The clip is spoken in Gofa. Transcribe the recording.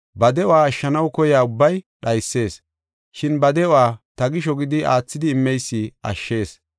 Ba de7uwa ashshanaw koyiya ubbay dhaysees. Shin ba de7uwa ta gisho gidi aathidi immeysi ashshees.